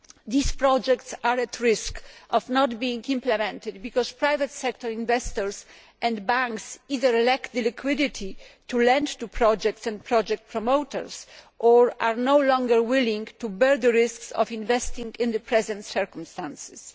These projects are at risk of not being implemented because private sector investors and banks either lack the liquidity to lend to projects and project promoters or are no longer willing to bear the risks of investing in the present circumstances.